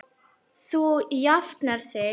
Þú jafnar þig.